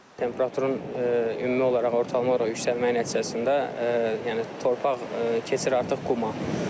Temperaturun ümumi olaraq, ortalama olaraq yüksəlməyi nəticəsində, yəni torpaq keçir artıq quma.